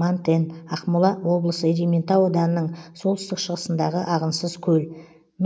мантен ақмола облысы ерейментау ауданының солтүстік шығысындағы ағынсыз көл